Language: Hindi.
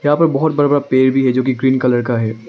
यहां पर बहोत बड़ा बड़ा पेड़ भी है जो कि ग्रीन कलर का है।